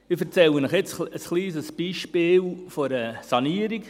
Ich erzähle Ihnen jetzt von einem kleinen Beispiel einer Sanierung.